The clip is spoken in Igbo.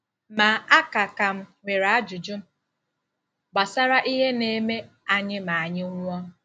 Ma, a ka ka m nwere ajụjụ gbasara ihe na-eme anyị ma anyị nwụọ.